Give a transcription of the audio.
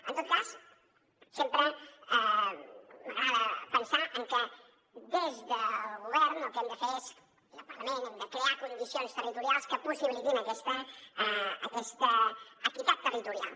en tot cas sempre m’agrada pensar en que des del govern el que hem de fer és i al parlament crear condicions territorials que possibilitin aquesta equitat territorial